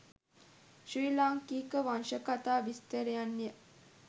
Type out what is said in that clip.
ශ්‍රී ලාංකික වංශකථා විස්තරයන්ය.